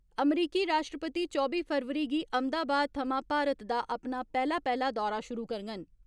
अमरीकी राश्ट्रपति चौबी फरवरी गी अहमदाबाद थमां भारत दा अपना पैहला पैहला दौरा शुरु करङन।